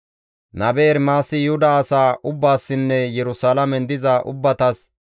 Nabe Ermaasi Yuhuda asaa ubbaassinne Yerusalaamen diza ubbatas,